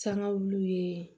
Sangawuluw ye